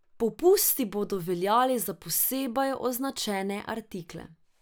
Popusti bodo veljali za posebej označene artikle.